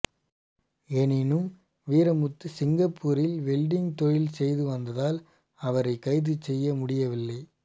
எனினும் வீரமுத்து சிங்கப்பூரில் வெல்டிங் தொழில் செய்து வந்ததால் அவரை கைது செய்ய முடியவில்லை